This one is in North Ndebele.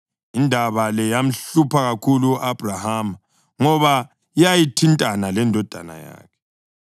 Indaba le yamhlupha kakhulu u-Abhrahama ngoba yayithintana lendodana yakhe.